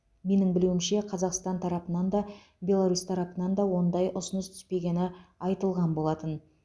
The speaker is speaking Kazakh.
менің білуімше қазақстан тарапынан да беларусь тарапынан да ондай ұсыныс түспегені айтылған болатын